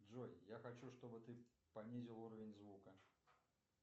джой я хочу чтобы ты понизил уровень звука